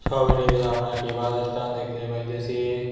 ছবিটিতে আমরা একটি বাস স্ট্যান্ড দেখতে পাইতেসি।